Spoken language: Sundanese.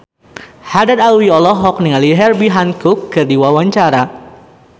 Haddad Alwi olohok ningali Herbie Hancock keur diwawancara